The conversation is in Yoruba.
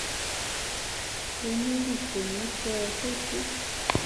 onílùú kò ní í fẹ kó tú